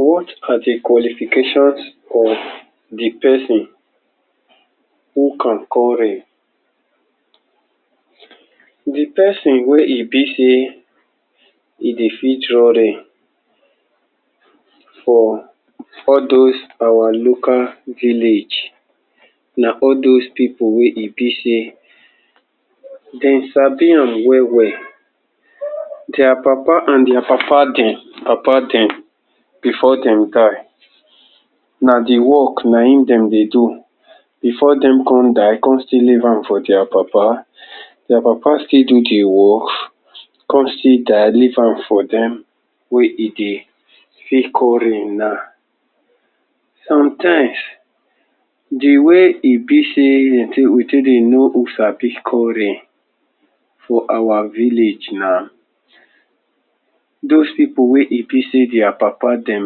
What are di qualifications for di pesin who can all rain Di pesin wey e bi say e dey fit draw rain for for those our local village na all those pipo wey e bi say dem sabi am wel wel dia papa and dia papa dem, papa dem bifor dem die na di work na im dem dey do bifor dem come die, come still leave am for dia papa dia papa still do di work come still die leave am for dem wey e dey fit call rain now. sometimes, di way e bi say we take dey know who sabi call rain for our village na, dos pipo wey e bi say dia papa dem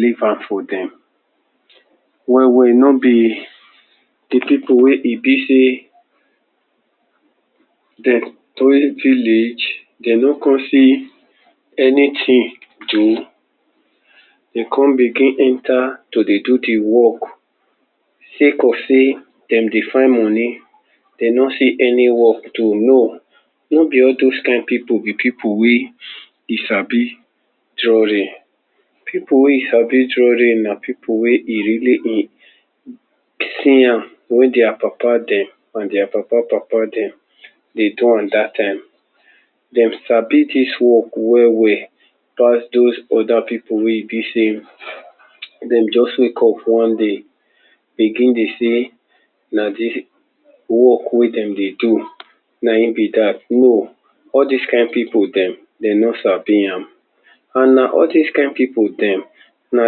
leave am for dem wey wey nobi di pipo wey e bi say dem?? village dem no come see anytin do dem come begin enta to dey do di work sake of say dem dey find money dem no see any work do, no, no bi all dos kind pipo be pipo wey e sabi draw rain. pipo wey sabi draw rain na pipo wey e really in see am wen dia papa dem and dia papa, papa dem dey do am dat time dem sabi dis work wel wel pass all dos oda pipo wey e bi say dem just wake up one day begin dey say na di work wey dem dey do na im be dat, no. All dis rain pipo dem dem no sabi am an na all dis kind pipo dem na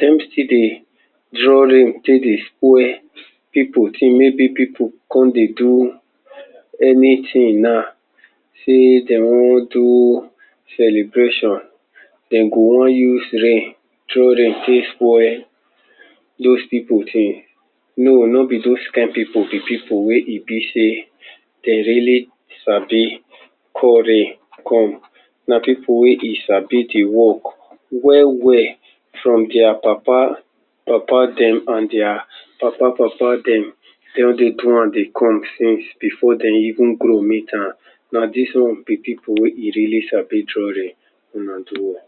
dem stiill dey draw rain take dey spoil pipo tin, maybe pipo come dey do anytin na say dem wan do celebration dem go wan use rain throw rain take spoil those pipo tin no, nobi dos kind pipo be pipo wey e bi say dem really sabi call rain come na pipo wey e sabi di wok wel wel from dia papa papa dem and dia papa papa dem dem dey draw am dey come since bifor dem even grow meet am na dis one be pipo wey e really sabi draw rain una do well.